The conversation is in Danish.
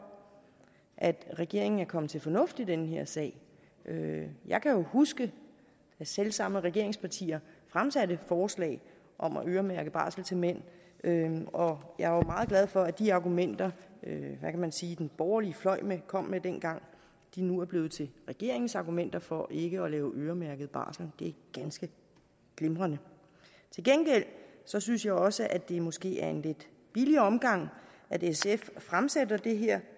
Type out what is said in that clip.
at regeringen er kommet til fornuft i den her sag jeg kan jo huske at selv samme regeringspartier fremsatte forslag om at øremærke barsel til mænd og jeg var meget glad for at de argumenter hvad kan man sige den borgerlige fløj kom med dengang nu er blevet til regeringens argumenter for ikke at lave øremærket barsel det er ganske glimrende til gengæld synes jeg også det måske er en lidt billig omgang af sf at fremsætte det her